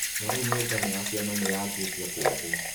Ona rĩu mĩũngano ya ciama nĩyanjĩtie kũũmbwo